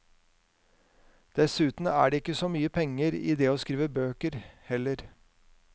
Dessuten er det ikke så mye penger i det å skrive bøker heller.